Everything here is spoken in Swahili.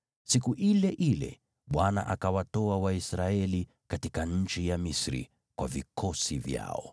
Siku ile ile Bwana akawatoa Waisraeli katika nchi ya Misri kwa vikosi vyao.